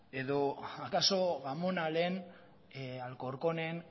edo akaso gamonalen alcorconen